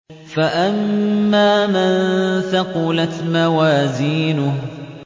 فَأَمَّا مَن ثَقُلَتْ مَوَازِينُهُ